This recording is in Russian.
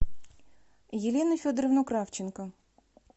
елену федоровну кравченко